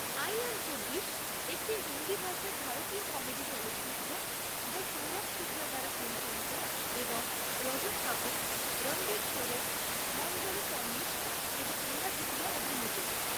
I am চব্বিশ' একটি হিন্দি ভাষার ভারতীয় কমেডি চলচ্চিত্র যা সৌরভ শুক্লা দ্বারা পরিচালিত এবং রজত কাপুর, রণবীর শোরে, মঞ্জারি ফড়নিশ এবং নেহা ধুপিয়া অভিনীত।